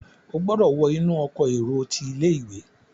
o gbódò wọ inú Ọkọ̀ èrò tí ilé-ìwé!